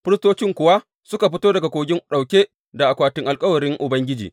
Firistocin kuwa suka fito daga kogin ɗauke da akwatin alkawarin Ubangiji.